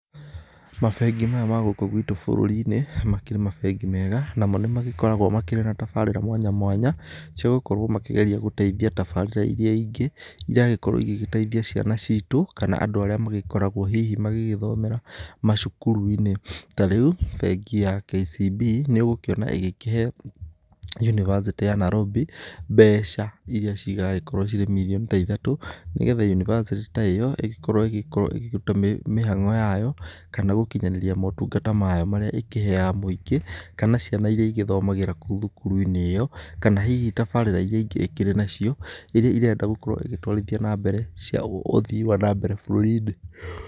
Mabengi maya ma gũkũ gwĩtũ bũrũri-inĩ makĩrĩ mabengi mega ,namo nĩ magĩkoragwo makĩrĩ na tabarĩra mwanya mwanya cia gũkorwo magĩteithĩrĩria tabarĩra ĩria ingĩ ĩragĩkorwo igĩgĩteithia ciana citũ kana andũ arĩa makoragwo hihi magĩgĩthomera macukuru-inĩ ,ta rĩu bengi ya KCB nĩ ũgũkĩona ĩgĩkĩhe yunibacitĩ ya Nairobi mbeca ĩria ciragĩkorwo cirĩ mĩrioni ta ithatũ nĩgetha yunibacitĩ ta ĩyo ĩgĩkorwo ĩkĩrũta mahango yayo kana gũkĩnyanĩria motungata mayo maríĩ ĩkĩheaga mwĩngĩ kana ciana ĩria ĩthomagĩra kũu cukuru-inĩ ĩyo kana hihi tabarĩra ĩrĩa ingĩ ĩkĩrĩ nacio ĩrĩa ĩrenda gũkorwo ĩgĩtwarithia na mbere cia ũthĩ wa nambere bũrũri-inĩ.